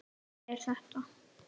Er þetta.